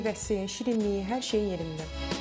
Meyvəsi, şirinliyi, hər şey yerində.